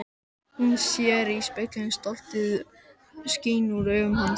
Hún sér í speglinum að stoltið skín úr augum hans.